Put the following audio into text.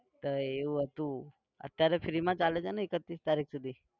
તો એવું હતું અત્યારે free માં ચાલે છે ને એકત્રીસ તારીખ સુધી?